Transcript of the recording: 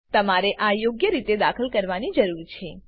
તમારે આ યોગ્ય રીતે દાખલ કરવાની જરૂર છે